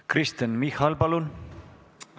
Kristen Michal, palun!